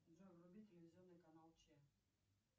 джой вруби телевизионный канал че